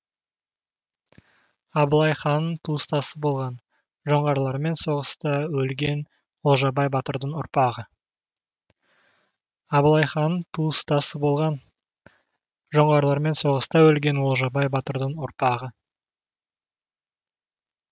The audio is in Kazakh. абылай ханның туыстасы болған жоңғарлармен соғыста өлген олжабай батырдың ұрпағы